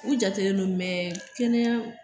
U jatelen no mɛ kɛnɛya